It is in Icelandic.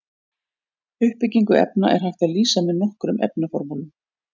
Uppbyggingu efna er hægt að lýsa með nokkrum efnaformúlum.